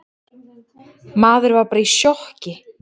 Maður var bara í sjokki.